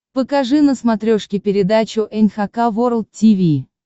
покажи на смотрешке передачу эн эйч кей волд ти ви